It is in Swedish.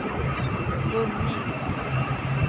vunnit